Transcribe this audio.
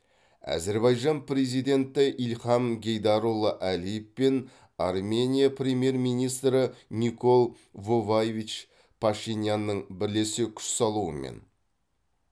әзербайжан президенті ильхам гейдарұлы әлиев пен армения премьер министрі никол воваевич пашинянның бірлесе күш салуымен